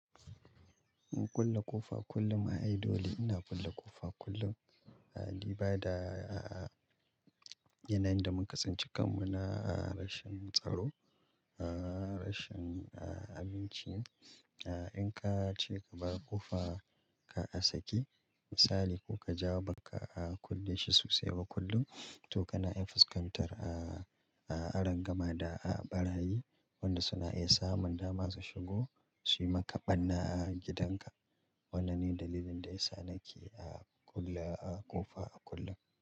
In kulle ƙofa kullum ai dole, ina kulle ƙofa kullum. Ali bada, a yanayin da muka sinci kanmu na a rashin tsaro, a rashin abinci. A in ka ce ka bar ƙofa ka a sake, misali ko ka ja baka kulle shi sosai ba kullum, to kana iya fuskantar a arangama da a barayi, wanda suna iya samun dama su shigo su yi maka ɓarna a gidanka. Wannan ne dalilin da ya sa nake a kulle a ƙofa kullum.